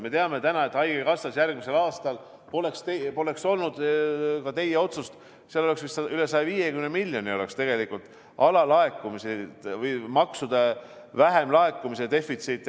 Me teame täna, et haigekassas oleks järgmisel aastal, kui poleks olnud ka teie otsust, olnud vist üle 150 miljoni alalaekumisi või maksude vähemlaekumist, defitsiiti.